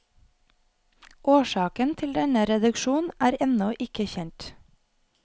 Årsaken til denne reduksjon er ennå ikke kjent.